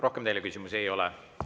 Rohkem teile küsimusi ei ole.